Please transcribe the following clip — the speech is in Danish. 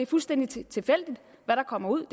fuldstændig tilfældigt hvad der kommer ud og